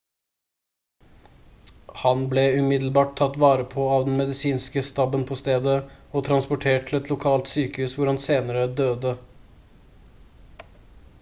han ble umiddelbart tatt vare på av den medisinske staben på stedet og transportert til et lokalt sykehus hvor han senere døde